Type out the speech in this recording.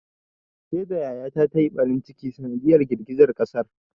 Saida yaya ta ta yi ɓarin ciki a sanadiyar girgizan ƙasar.